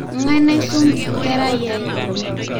Ngai naisom nkeraiyiai